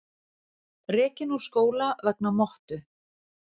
Rekinn úr skóla vegna mottu